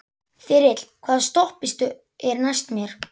Þyrill, hvaða stoppistöð er næst mér?